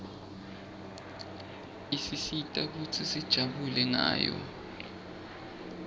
isisita kutsi sijabule ngayo